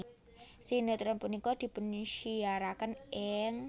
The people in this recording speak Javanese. Sinetron punika dipunsiyaraken ing